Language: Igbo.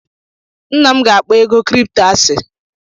Nna m ga-akpọ ego kripto asị.